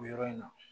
O yɔrɔ in na